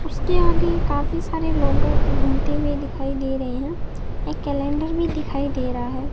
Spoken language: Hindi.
उसके आगे काफी सारे लोग घुमते हुए दिखाई दे रहे हैं एक कैलेंडर भी दिखाइ दे रहा है।